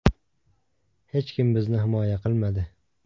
Hech kim bizni himoya qilmadi.